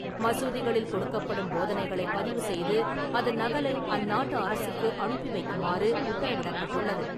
மசூதிகளில் கொடுக்கப்படும் போதனைகளை பதிவு செய்து அதன் நகலை அந்நாட்டு அரசுக்கு அனுப்பி வைக்குமாறு உத்தரவிடப்பட்டுள்ளது .